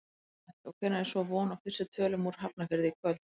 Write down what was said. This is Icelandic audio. Gunnar Atli: Og hvenær er svo von á fyrstu tölum úr Hafnarfirði í kvöld?